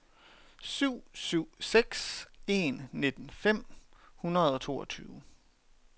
syv syv seks en nitten fem hundrede og toogtyve